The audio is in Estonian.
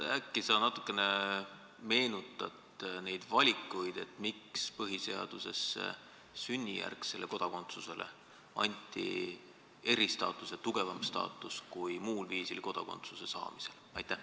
Äkki sa natukene meenutad, miks anti põhiseaduses sünnijärgsele kodakondsusele eristaatus, tugevam staatus kui muul viisil kodakondsuse saamisele?